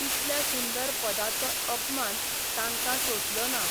इतल्या सुंदर पदाचो अपमान तांकां सोंसलो ना.